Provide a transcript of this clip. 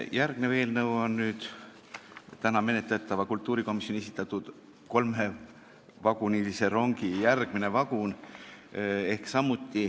Järgmine eelnõu on tänaseks kultuurikomisjoni esitatud kolmevagunilise rongi viimane vagun.